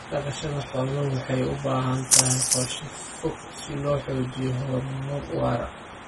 Dhaqashada xooluhu waxay u baahan tahay qorshe fog si loo xaqiijiyo horumar waara.